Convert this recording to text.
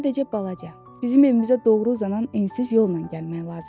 Sadəcə balaca, bizim evimizə doğru uzanan ensiz yolla gəlmək lazımdır.